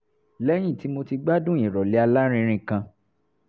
lẹ́yìn tí mo ti gbádùn ìrọ̀lẹ́ alárinrin kan